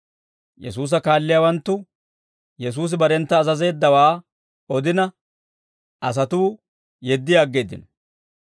Yesuusa kaalliyaawanttu Yesuusi barentta azazeeddawaa odina, asatuu yeddi aggeeddino.